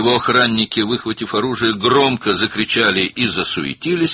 Onun cangüdənləri silahlarını çıxararaq bərkdən qışqırdılar və təlaşlandılar.